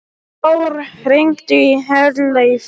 Þór, hringdu í Herleif.